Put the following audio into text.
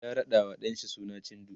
ya raɗawa ɗan shi suna cindo